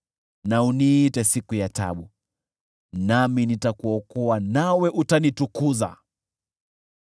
na uniite siku ya taabu; nami nitakuokoa, nawe utanitukuza.”